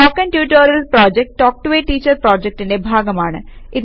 spoken tutorial project talk to a teacher പ്രോജക്റ്റിന്റെ ഭാഗമാണ്